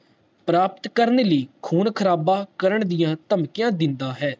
ਪ੍ਰਾਪਤ ਕਰਨ ਲਈ ਖੂਨ ਖਰਾਬੇ ਦੀਆਂ ਧਮਕੀਆਂ ਦਿੰਦਾ ਹੈ